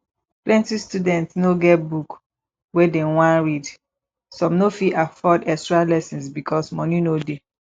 plenty student no get book wey dem wan read some no fit afford extra lessons because money no dey